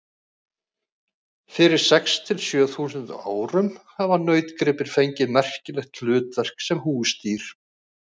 Fyrir sex til sjö þúsund árum hafa nautgripir fengið merkileg hlutverk sem húsdýr.